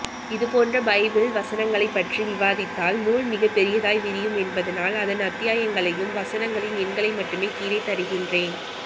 இதுபோன்ற பைபிள் வசனங்களைப்பற்றி விவாதித்தால் நூல் மிகப்பெரியதாய் விரியும் என்பதால் அதன் அத்தியாயங்களையும் வசனங்களின் எண்களை மட்டுமே கீழே தருகின்றேன்